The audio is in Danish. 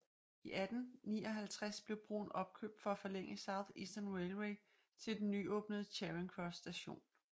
I 1859 blev broen opkøbt for at forlænge South Eastern Railway til den nyåbnede Charing Cross station